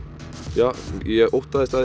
já ég óttaðist að